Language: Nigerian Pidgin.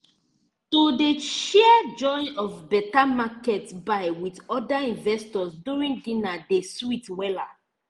to dey share joy of better market buy with other investors during dinner dey sweet wella